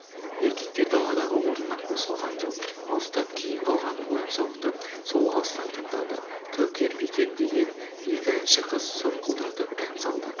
еркектер даладағы орнынан қозғалған жоқ алыстап кейін қалған ойын-сауықты сол алыстан тыңдады кәукер бикен деген екі әнші қыз сұңқылдатып ән салды